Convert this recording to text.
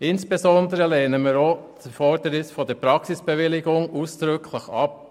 Insbesondere lehnen wir auch das Erfordernis einer Praxisbewilligung ausdrücklich ab.